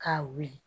K'a wuli